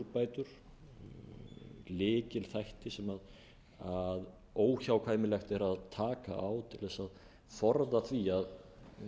skilningi um meginúrbætur lykilþætti sem óhjákvæmilegt er að taka á til þess að forða því að